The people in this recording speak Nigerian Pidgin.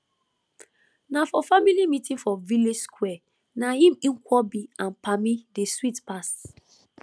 na for family meeting for village square na im nkwobi and palmi dey sweet pass